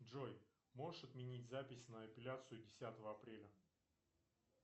джой можешь отменить запись на эпиляцию десятого апреля